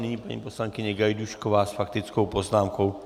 Nyní paní poslankyně Gajdůšková s faktickou poznámkou.